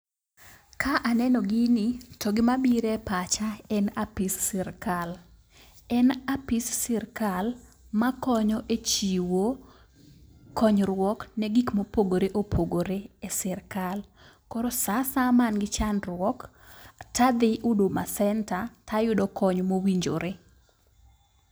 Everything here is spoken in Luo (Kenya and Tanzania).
Ka aneno gini, to gima bire pacha en apis sirkal. En apis sirkal makonyo e chiwo konyruok ne gik mopogore opogore e sirkal. K oro saa asaya ma an gi chandruok tadhi huduma center tayudo kony mowinjore.